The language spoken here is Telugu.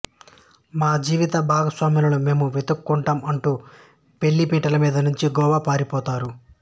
మా జీవిత భాగస్వాములను మేమే వెతుక్కుంటాం అంటూ పెళ్లిపీటల మీద నుంచి గోవా పారిపోతారు